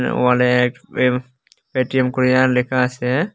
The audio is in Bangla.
ওয়ালে এক এম পেটিএম করিয়া লেখা আছে।